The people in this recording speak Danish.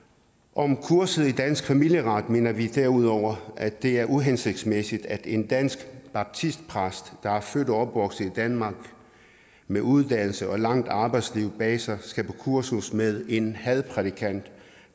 om kurset i dansk familieret mener vi derudover at det er uhensigtsmæssigt at en dansk baptistpræst der er født og opvokset i danmark med uddannelse og et langt arbejdsliv bag sig skal på kursus med en hadprædikant